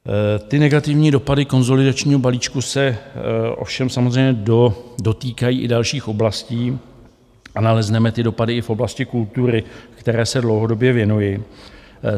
Ty negativní dopady konsolidačního balíčku se ovšem samozřejmě dotýkají i dalších oblastí a nalezneme ty dopady i v oblasti kultury, které se dlouhodobě věnuji.